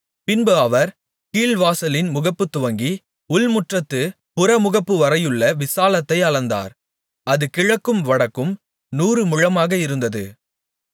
பின்பு அவர் கீழ்வாசலின் முகப்புத்துவங்கி உள்முற்றத்துப் புறமுகப்புவரையுள்ள விசாலத்தை அளந்தார் அது கிழக்கும் வடக்கும் நூறுமுழமாக இருந்தது